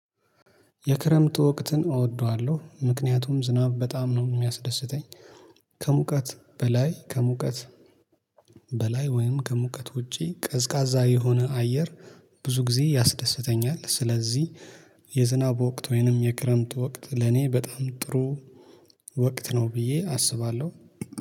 የክረምቱ ወቅትን እወደዋለሁ ምክንያቱም ዝናብ በጣም ነው የሚያስደስተኝ። ከሙቀት በላይ ከሙቀት በላይ ወይም ከሙቀት ውጪ ቀዝቃዛ የሆነ አየር ብዙ ጊዜ ያስደስተኛል። ስለዚህ የዝናብ ወቅት ወይንም የክረምት ወቅት ለኔ በጣም ጥሩ ወቅት ነው። ብዬ አስባለሁ